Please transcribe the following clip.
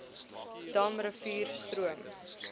dam rivier stroom